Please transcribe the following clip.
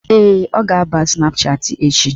Ee, ọ ga-aba Snapchatị echi